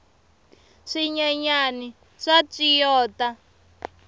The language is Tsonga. swinyenyani swa tswiyota